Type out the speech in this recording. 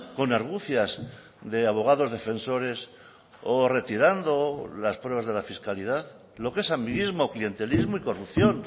con argucias de abogados defensores o retirando las pruebas de la fiscalidad lo que es amiguismo clientelismo y corrupción